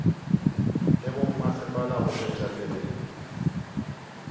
le bommasepala go tšwetša pele